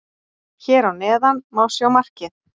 Hér að neðan má sjá markið.